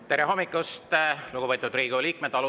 Tere hommikust, lugupeetud Riigikogu liikmed!